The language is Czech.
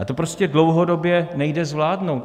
A to prostě dlouhodobě nejde zvládnout.